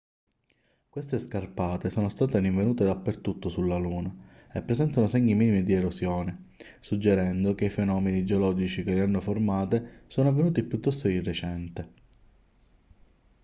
queste scarpate sono state rinvenute dappertutto sulla luna e presentano segni minimi di erosione suggerendo che i fenomeni geologici che le hanno formate sono avvenuti piuttosto di recente